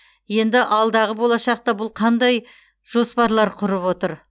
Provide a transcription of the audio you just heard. енді алдағы болашақта бұл қандай жоспарлар құрып отыр